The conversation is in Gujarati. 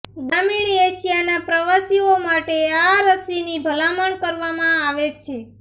ગ્રામીણ એશિયાના પ્રવાસીઓ માટે આ રસીની ભલામણ કરવામાં આવે છે